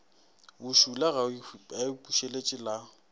bošula ga o ipušeletše la